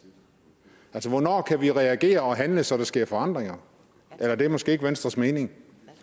altså hvornår kan vi reagere og handle så der sker forandringer eller det er måske ikke venstres mening